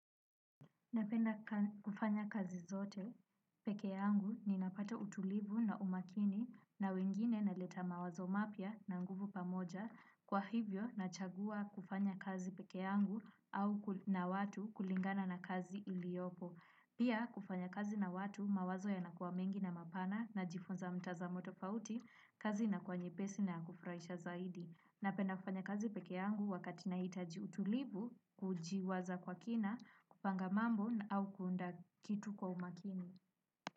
Napenda kufanya kazi zote peke yangu ninapata utulivu na umakini na wengine naleta mawazo mapya na nguvu pamoja kwa hivyo nachagua kufanya kazi pekee yangu au na watu kulingana na kazi iliyopo. Pia kufanya kazi na watu mawazo yanakuwa mengi na mapana najifunza mtazamo tofauti, kazi inakuwa nyepesi na kufurahisha zaidi. Napenda kufanya kazi peke yangu wakati nahitaji utulivu, kujiwaza kwa kina, kupanga mambo na au kuunda kitu kwa umakini.